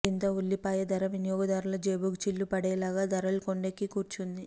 దీంతో ఉల్లిపాయ ధర వినియోగదారుల జేబుకు చిల్లు పడేలాగే ధరలు కొండెక్కి కూర్చుంది